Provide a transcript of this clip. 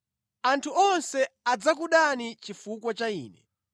Anthu onse adzakudani chifukwa cha Ine.